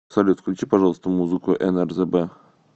салют включи пожалуйста музыку нрзб